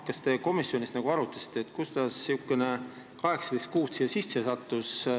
Kas te komisjonis arutasite, kuidas sattus siia sisse see 18 kuud?